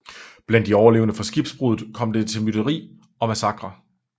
Blandt de overlevende fra skibsbruddet kom der til mytteri og massakre